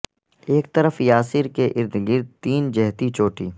ایک طرف یا سر کے ارد گرد تین جہتی چوٹی